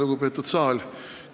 Lugupeetud saal!